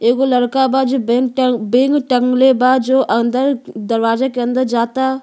एगो लड़का बा जो बेन्ग टंग बेंग टंगले बा जो अंदर दरवाजा के अंदर जाता।